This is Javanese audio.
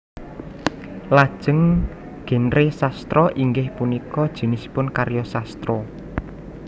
Lajeng genre sastra inggih punika jinisipun karya sastra